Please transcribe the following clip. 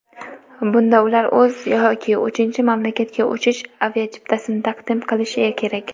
Bunda ular o‘z yoki uchinchi mamlakatga uchish aviachiptasini taqdim qilishi kerak.